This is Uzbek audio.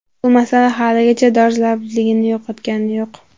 Bu masala haligacha dolzarbligini yo‘qotgani yo‘q.